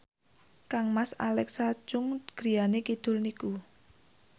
kangmas Alexa Chung griyane kidul niku